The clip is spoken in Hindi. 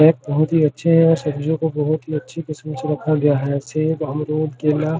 पैक बहुत ही अच्‍छे है और सब्जियों को बहुत ही अच्‍छी किस्‍म से रखा गया है सेब अमरूद केला --